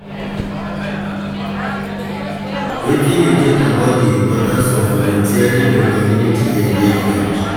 Wetin you think about di importance of volunteering in community engagement?